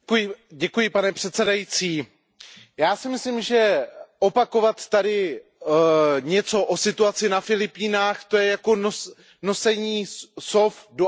Pane předsedající, já si myslím, že opakovat tady něco o situaci na Filipínách, to je jako nošení sov do Athén.